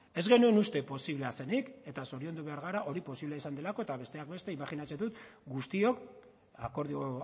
ez genuen uste posiblea zenik eta zoriondu behar gara hori posiblea izan delako eta besteak beste imajinatzen dut guztiok akordio